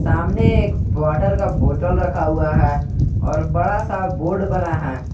सामने एक वॉटर का बोटल रखा हुआ है और बड़ा सा बोर्ड बना है।